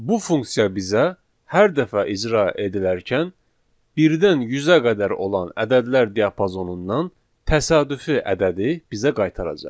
Bu funksiya bizə hər dəfə icra edilərkən birdən 100-ə qədər olan ədədlər diapazonundan təsadüfi ədədi bizə qaytaracaq.